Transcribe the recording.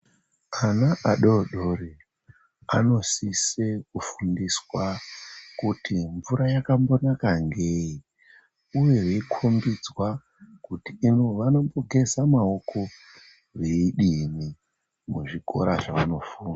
Ana adori dori anosise kufundiswa kuti mvura yakambonaka ngei, uyezve veikombedzwa kuti vanombogeza maoko veidini muzvikora zvavanofunda.